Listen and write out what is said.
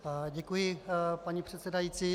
Děkuji, paní předsedající.